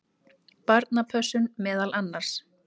Barnapössun meðal annars.